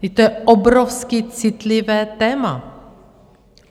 Vždyť to je obrovsky citlivé téma!